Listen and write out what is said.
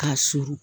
K'a suru